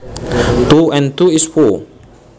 Two and two is four